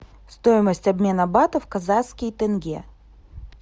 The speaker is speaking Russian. стоимость обмена батов в казахские тенге